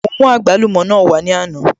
Mo mú àgbálùmọ̀ náà wá ní àná